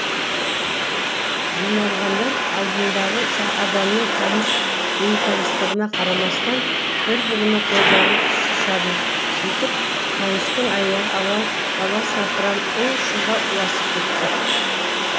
жиналғандар алдындағы адамның таныс бейтаныстығына қарамастан бір бірінің қолдарын қысысады сөйтіп қуаныштың аяғы аласапыран у шуға ұласып кетті